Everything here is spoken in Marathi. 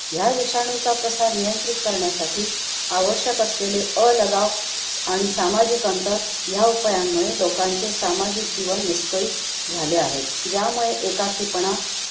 ह्या विषणूचा प्रसार नियंत्रित करण्यासाठी आवश्यक असलेले अलगाव आणि सामाजिक अंतर ह्या उपायांमुळे लोकांचे सामाजिक जीवन विस्कळीत झाले आहे. ज्यामुळे एकाकीपाणा,